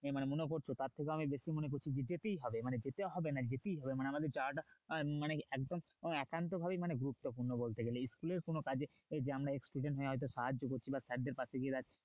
মনে করছো তার থেকেও আমি বেশি মনে করি মানে যেতেই হবে মানে যেতে হবে না মানে যেটাই হবে মানে আমাদের যাওয়াটা আহ মানে কি একদম একান্ত ভাবেই মানে গুরুত্বপূর্ণ বলতে গেলে school এর কোন কাজে যে আমরা school কে সাহায্য করছি বা sir দের পাশে গিয়ে দাঁড়িয়ে,